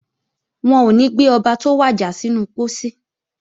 Wọn ò ní gbé Ọba tó wàjà sínú pósí